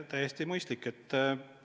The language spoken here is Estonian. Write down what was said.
Täiesti mõistlik!